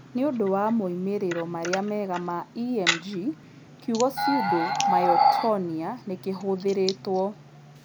Nĩ ũndũ wa moimĩrĩro marĩa mega ma EMG, kiugo pseudo myotonia nĩ kĩhũthĩrĩtwo.